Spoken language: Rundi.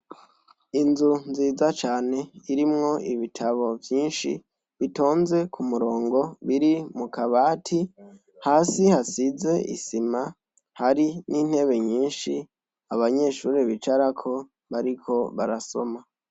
Inzu nziza irimwo ibitabo vyinshi bitonze k'umurongo, biri mukabati hasi hasize isima, hari n'intebe nyinshi abanyeshure bicarako bariko barasoma.